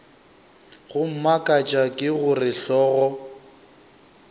go mmakatša ke gore hlogo